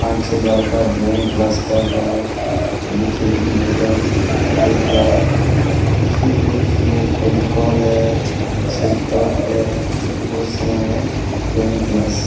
पांच छे लड़का ड्राइंग क्लास कर रहे है और देखिए एक मैडम देख रहा है देखिए बहोत चीज़े फेवीकोल है है देखिए बहोत समान है हैड्राइंग क्लास-- .